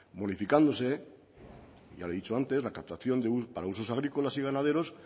modificándose ya le he dicho antes la captación para usos agrícolas y ganaderos